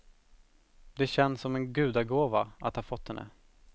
Det känns som en gudagåva att ha fått henne.